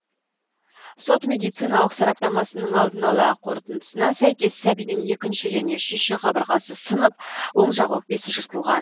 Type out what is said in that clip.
сот медициналық сараптамасының алдын ала қорытындысына сәйкес сәбидің екінші және үшінші қабырғасы сынып оң жақ өкпесі жыртылған